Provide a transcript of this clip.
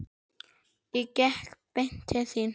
Ég gekk beint til þín.